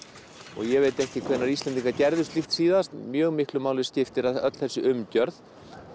og ég veit ekki hvenær Íslendingar gerðu slíkt síðast mjög miklu máli skiptir að öll þessi umgjörð